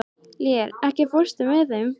Lér, ekki fórstu með þeim?